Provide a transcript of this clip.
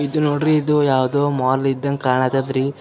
ಇದು ನೋಡ್ರಿ ಇದು ಯಾವ್ದೋ ಮಾಲ್ ಇದ್ದಂಗ್ ಕಾಣತಾದ್ರಿ.